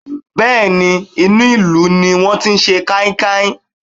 Bẹ́ẹ̀ ni, inú ìlú ní wọ́n ti sẹ káíkáí.